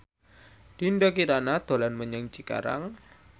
Dinda Kirana dolan menyang Cikarang